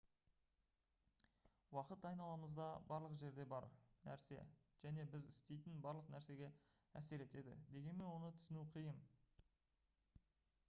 уақыт айналамызда барлық жерде бар нәрсе және біз істейтін барлық нәрсеге әсер етеді дегенмен оны түсіну қиын